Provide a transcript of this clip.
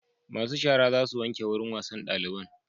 Masu shara za su wanke wurin wasan daliban